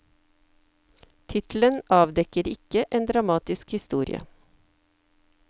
Tittelen avdekker ikke en dramatisk historie.